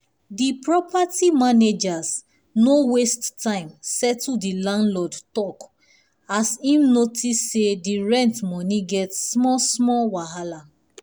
the property managers no waste time settle the landlord talk as e notice say the rent money get small-small wahala.